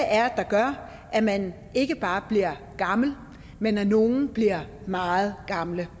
er der gør at man ikke bare bliver gammel men at nogle bliver meget gamle